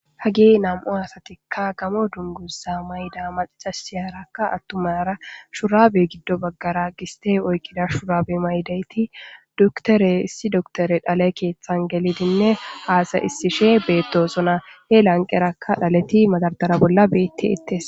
Hage nam7u asatikka gamo dunguza mayda macaca shiyaraka attumara shurabe giddo baggara giste oykkida shuraabe maydayti duktore issi dotore dhale keeththan gelidinne haasay issishe beettosona he lanqerakka dhaleti madardara bolla beetti ittes